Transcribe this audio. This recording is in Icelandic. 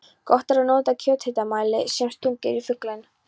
Gott er að nota kjöthitamæli sem stungið er í fuglinn.